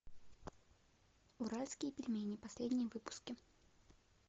уральские пельмени последние выпуски